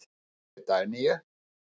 Rætt við Dagnýju.